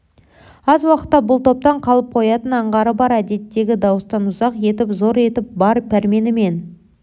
аз уақытта бұл топтан қалып қоятын аңғары бар әдеттегі дауыстан ұзақ етіп зор етіп бар пәрменімен